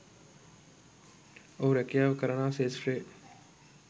ඔහු රැකියාව කරනා ක්ෂේත්‍රයේ